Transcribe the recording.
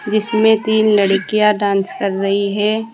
जिसमें तीन लड़कियां डांस कर रही है।